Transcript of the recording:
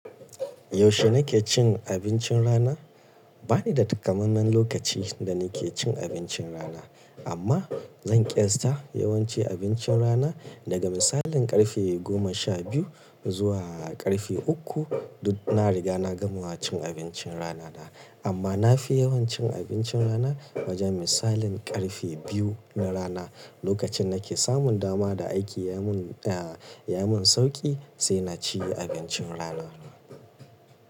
Yaushe nake cin abincin rana? Ba ni da takamaiman lokaci da nake cin abincin rana amma zan ƙiyasta yawanci abincin rana daga misalin ƙarfe goma sha biyu zuwa ƙarfe uku. Duk na riga na gama cin abincin rana na amma na fi yawan cin abincin rana wajen misalin ƙarfe biyu na rana. Lokacin nake samun dama da aiki ya mun, ya mun sauƙi sai na ci abincin rana.